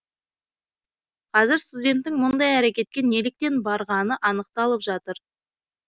қазір студенттің мұндай әрекетке неліктен барғаны анықталып жатыр